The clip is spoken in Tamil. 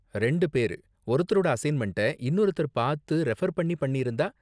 ரெண்டு பேரு ஒருத்தரோட அசைன்மெண்ட்ட இன்னொருத்தர் பாத்து ரெஃபர் பண்ணி பண்ணிருந்தா?